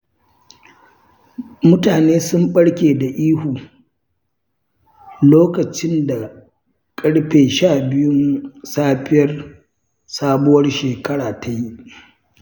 Mutane sun ɓarke da ihu, lokacin da ƙarfe sha biyun safiyar sabuwar shekara ta yi.